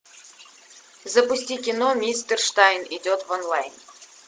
запусти кино мистер штайн идет в онлайн